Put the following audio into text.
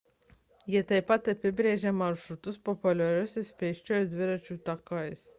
jie taip pat apibrėžia maršrutus populiariais pėsčiųjų ir dviračių takais